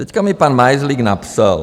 Teď mi pan Majzlík napsal.